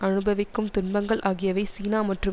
அனுபவிக்கும் துன்பங்கள் ஆகியவை சீனா மற்றும்